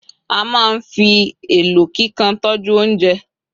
a ma n fi elo kikan tọju ounjẹ